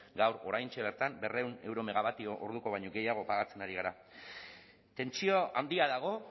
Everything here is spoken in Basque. gaur oraintxe bertan berrehun euro megawattio orduko baino gehiago pagatzen ari gara tentsio handia dago